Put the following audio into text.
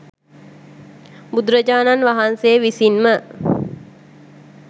බුදුරජාණන් වහන්සේ විසින්ම